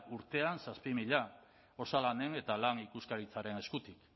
urtean zazpi mila osalanen eta lan ikuskaritzaren eskutik